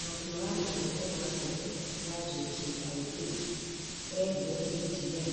mwaria wa rũhonge rwa ndege ya JKIA arire KTN